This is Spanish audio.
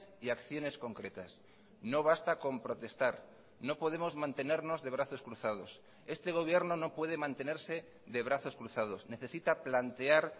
y acciones concretas no basta con protestar no podemos mantenernos de brazos cruzados este gobierno no puede mantenerse de brazos cruzados necesita plantear